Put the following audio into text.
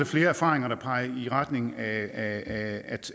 flere erfaringer der peger i retning af